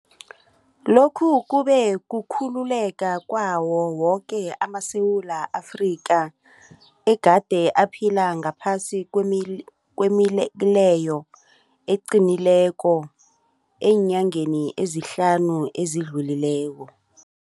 Lokhu kube kukhululeka kwawo woke amaSewula Afrika egade aphila ngaphasi kwemileyo eqinileko eenyangeni ezihlanu ezidlulileko.